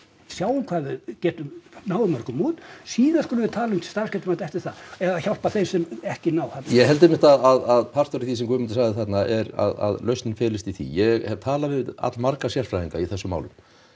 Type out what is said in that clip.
sjáum hvað við getum náð mörgum út síðan skulum við tala um starfsgetumat eftir það eða hjálpa þeim sem ekki ná ég held einmitt að partur af því sem Guðmundur sagði þarna að lausnin felist í því ég hef talað við allmarga sérfræðinga í þessum málum